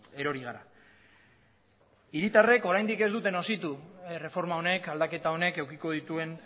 erori gara hiritarreko oraindik ez dute nozitu erreforma honek aldaketa honek edukiko dituen